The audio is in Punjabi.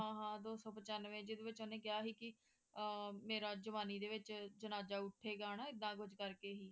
ਹਾਂ ਹਾਂ ਦੋ ਸੌ ਪਚਾਂਨਵੇਂ ਜਿਹਦੇ ਵਿੱਚ ਉਹਨੇਂ ਕਿਹਾ ਸੀ ਵੀ ਮੇਰਾ ਜਵਾਨੀ ਦੇ ਵਿੱਚ ਜਨਾਜਾ ਉੱਠੇਗਾ ਨਾ ਐਦਾਂ ਕੁਝ ਕਰਕੇ ਸੀ